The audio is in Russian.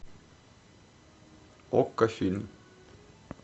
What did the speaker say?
окко фильм